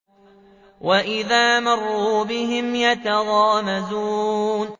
وَإِذَا مَرُّوا بِهِمْ يَتَغَامَزُونَ